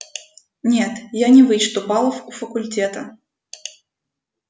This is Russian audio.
нет я не вычту баллов у факультета